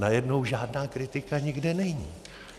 Najednou žádná kritika nikde není.